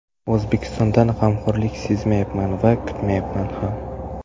O‘zbekistondan g‘amxo‘rlik sezmayapman va kutmayapman ham.